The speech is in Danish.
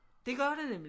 Det gør det nemlig